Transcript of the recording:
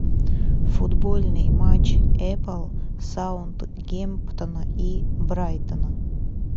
футбольный матч апл саутгемптона и брайтона